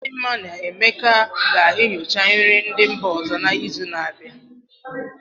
Chidinma na Emeka ga-enyocha nri ndị mba ọzọ n'izu na-abịa.